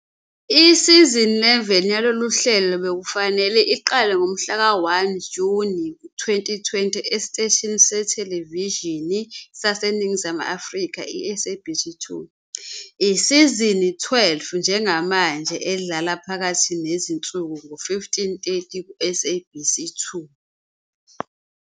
Isizini 11 yalolu hlelo bekufanele iqale ngomhlaka 1 Juni 2020 esiteshini sethelevishini saseNingizimu Afrika i- SABC 2. Isizini 12 njengamanje idlala phakathi nezinsuku ngo-15- 30 kuSabc2.